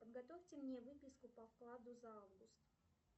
подготовьте мне выписку по вкладу за август